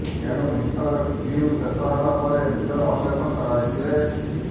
ଏଣୁ ଇଣ୍ଟରଭିଉ ଶେଷ ହେବା ପରେ ନିଜର ଅପରେସନ କରାଇଥିଲେ